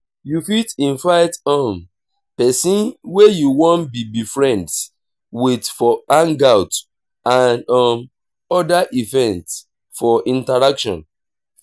you fit invite um person wey you wan be be friends with for hangout and um oda events for interaction